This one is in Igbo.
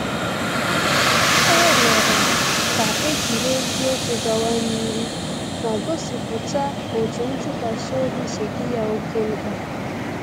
Ọ rịọrọ ka e jiri eziokwu gawa n’ihu ma gosipụta otú ntụkwasị obi si dị ya oke mkpa